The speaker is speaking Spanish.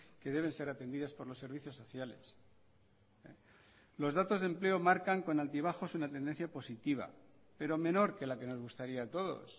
que deben ser atendidas por los servicios sociales los datos de empleo marcan con altibajos una tendencia positiva pero menor que la que nos gustaría a todos